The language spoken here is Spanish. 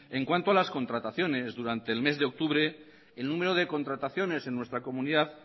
en cuanto a las contrataciones durante el mes de octubre el número de contrataciones en nuestra comunidad